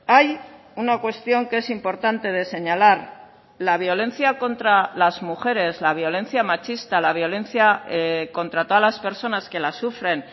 hay una cuestión que es importante de señalar la violencia contra las mujeres la violencia machista la violencia contra todas las personas que la sufren